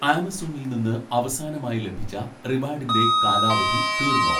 ആമസോണിൽ നിന്ന് അവസാനമായി ലഭിച്ച റിവാഡിൻ്റെ കാലാവധി തീർന്നോ